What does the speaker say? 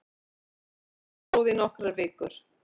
Rannsókn stóð í nokkrar vikur